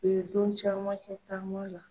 U ye don caman kɛ taama la.